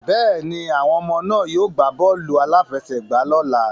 Bẹ́ẹ̀ni, àwọn ọmọ náà yóò gbá bọ́ọ̀lù-aláfẹ́sẹ̀gbà lọ́ la.